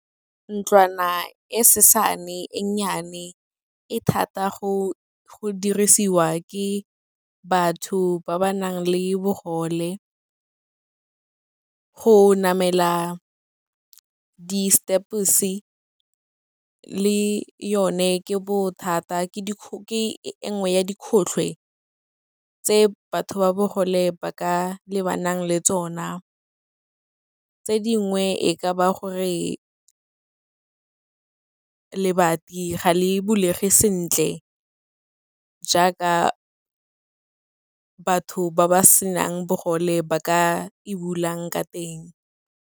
Ntlwana e sesane, e nnyane, e thata go dirisiwa ke batho ba ba nang le bogole, go namela di-steps-e le yone ke bothata ke e nngwe ya tse batho ba bogole ba ka lebanang le tsona. Tse dingwe e ka ba gore lebati ga le bulege sentle, jaaka batho ba ba senang bogole ba ka e bulang ka teng.